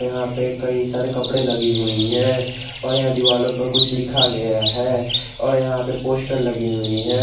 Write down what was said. यहां पे कई सारी कपड़े लगी हुई है और यहां पे दीवालों पे कुछ लिखा गया है और यहां पे कुछ पोस्टर लगी हुई हैं।